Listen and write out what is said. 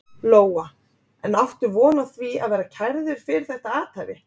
Lóa: En áttu von á því að verða kærður fyrir þetta athæfi?